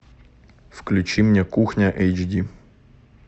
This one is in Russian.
включи мне кухня эйч ди